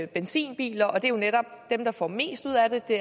benzinbiler og det er netop dem der får mest ud af det